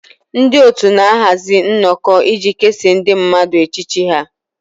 Ndị otu na-ahazi nnọkọ iji kesaa ndị mmadụ echiche ha